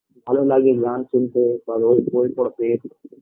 ভালো লাগে গান শুনতে ভালো ভালো বই পড়তে